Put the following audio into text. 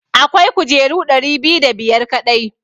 Akwai kujeru ɗari biyu da biyar kaɗai.